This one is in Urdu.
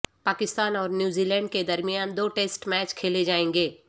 پاکستان اور نیوزی لینڈ کے درمیان دو ٹیسٹ میچ کھیلے جائیں گے